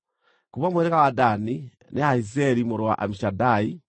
kuuma mũhĩrĩga wa Dani, nĩ Ahiezeri mũrũ wa Amishadai;